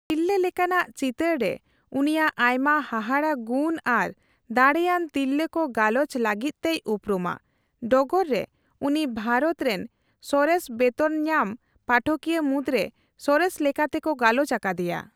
ᱛᱤᱨᱞᱟᱹᱼᱞᱮᱠᱟᱱᱟᱜ ᱪᱤᱛᱟᱹᱨ ᱨᱮ ᱩᱱᱤᱭᱟᱜ ᱟᱭᱢᱟ ᱦᱟᱦᱟᱲᱟ ᱜᱩᱱ ᱟᱨ ᱫᱟᱲᱮᱹᱭᱟᱱ ᱛᱤᱨᱞᱟᱹᱠᱚ ᱜᱟᱞᱚᱪ ᱞᱟᱹᱜᱤᱫᱛᱮᱭ ᱩᱯᱨᱩᱢᱟ, ᱰᱚᱜᱚᱨ ᱨᱮ ᱩᱱᱤ ᱵᱷᱟᱨᱚᱛ ᱨᱮᱱ ᱥᱚᱨᱮᱥ ᱵᱮᱛᱚᱱᱧᱟᱢ ᱯᱟᱴᱷᱚᱠᱤᱭᱟᱹ ᱢᱩᱫᱽᱨᱮ ᱥᱚᱨᱮᱥ ᱞᱮᱠᱟᱛᱮᱠᱚ ᱜᱟᱞᱚᱪ ᱟᱠᱟᱫᱮᱭᱟ ᱾